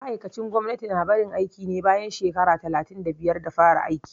Ma'aikacin gwamnati na barin aiki ne bayan shekara talatin da biyar da fara aiki